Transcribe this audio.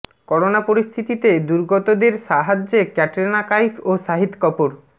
corona পরিস্থিতিতে দুর্গতদের সাহায্যে ক্যাটরিনা কাইফ ও শাহিদ কপূর